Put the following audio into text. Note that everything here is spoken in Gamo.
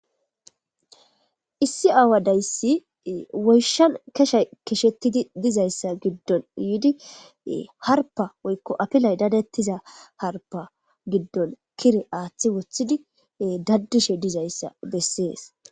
Issi aawadayssi woyshan keshay keshettidi dizayssa giddon yiidi harpa woykko apilay dadettiza harpa giddon kire aaththi wothidi daddishe dizayssa bessees